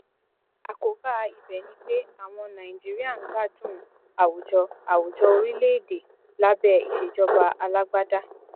àkóbá ibẹ ni pé àwọn nàìjíríà ń gbádùn àwùjọ àwùjọ orílẹ èdè lábẹ ìsèjọba alágbádá